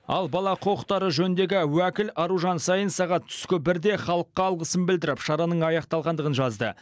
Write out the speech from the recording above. ал бала құқықтары жөніндегі уәкіл аружан саин сағат түскі бірде халыққа алғысын білдіріп шараның аяқталғандығын жазды